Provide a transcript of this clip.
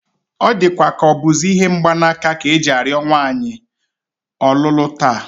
Ọ dịkwa ka ọ bụzi ihe mgbanaka ka e ji arịọ nwata nwaanyị ọlụlụ taa